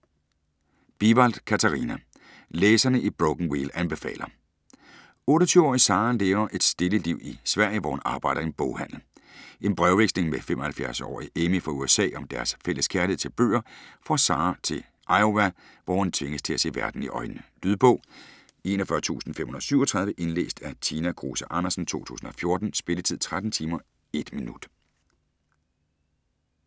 Bivald, Katarina: Læserne i Broken Wheel anbefaler 28-årige Sara lever et stille liv i Sverige, hvor hun arbejder i en boghandel. En brevveksling med 75-årige Amy fra USA om deres fælles kærlighed til bøger får Sara til Iowa, hvor hun tvinges til at se verden i øjnene. Lydbog 41537 Indlæst af Tina Kruse Andersen, 2014. Spilletid: 13 timer, 1 minutter.